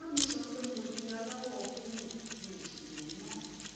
màmá mi sọ pé mo di aláwọ búlúù mi ò sì lè mí mọ